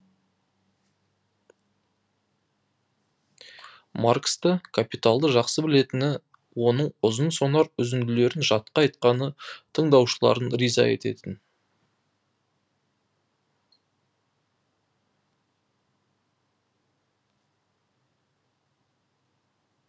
марксті капиталды жақсы білетіні оның ұзын сонар үзінділерін жатқа айтқаны тыңдаушыларын риза ететін